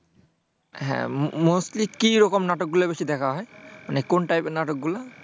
হ্যাঁ mostly কি রকম নাটকগুলো বেশি দেখা হয়? মানে কোন টাইপের নাটকগুলো?